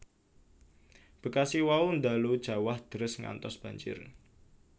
Bekasi wau ndalu jawah deres ngantos banjir